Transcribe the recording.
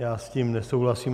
Já s tím nesouhlasím.